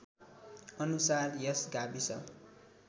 अनुसार यस गाविस